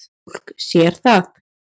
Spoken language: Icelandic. Fólk sér það.